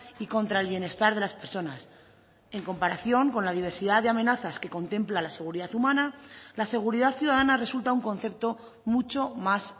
y contra el bienestar de las personas en comparación con la diversidad de amenazas que contempla la seguridad humana la seguridad ciudadana resulta un concepto mucho más